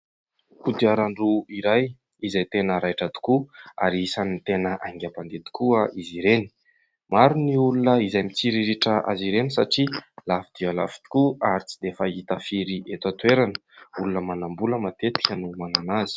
Kodiaran-droa iray izay tena raitra tokoa ary isan'ny tena haingam-pandeha tokoa izy ireny. Maro ny olona izay mitsiriritra azy ireny satria lafo dia lafo tokoa ary tsy dia fahita firy eto an-toerana, olona manambola matetika no manana azy.